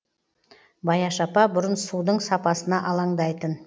баяш апа бұрын судың сапасына алаңдайтын